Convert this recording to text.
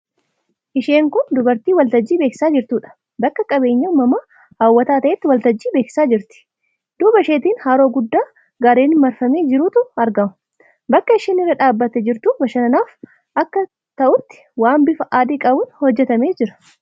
Isheen kun dubartii waltajjii beeksisaa jirtuudha. Bakka qabeenya uumamaa hawwataa ta'etti waltajjii beeksisaa jirti. Duuba isheetiin haroo guddaa garreeniin marfamee jirutu argama. Bakki isheen irra dhaabbattee jirtu bashannanaaf akka talutti waan bifa adi qabuun hojjetamee jira.